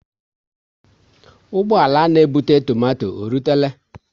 Ụgbọala na ebute tomato e rutela?